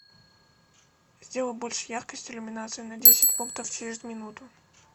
сделай больше яркость иллюминации на десять пунктов через минуту